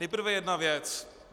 Nejprve jedna věc.